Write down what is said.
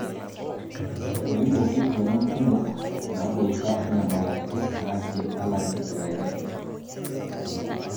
etolimueki ilomon kumuk naboita onyamaliritin natii allergic rhinitis.